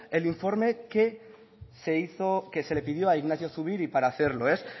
el informe que se hizo que se le pidió a ignacio zubiri para hacerlo